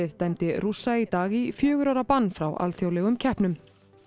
dæmdi Rússa í dag í fjögurra ára bann frá alþjóðlegum keppnum